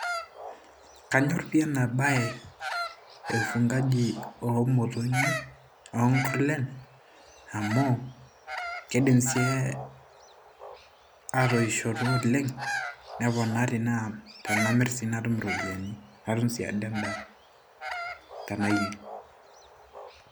Kanyorie enabae cs ufugaji cs omotonyi onkurlen amu keidim sii atoishoto olenga neponari tenamir sii natum iropiyiani natum endaa tanayier.